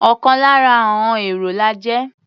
Ọ̀kan lára àọn èrò la jẹ́.